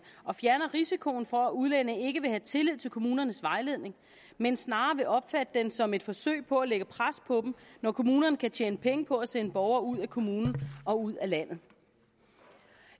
og fjerner risikoen for at udlændinge ikke vil have tillid til kommunernes vejledning men snarere vil opfatte den som et forsøg på at lægge pres på dem når kommunerne kan tjene penge på at sende borgere ud af kommunen og ud af landet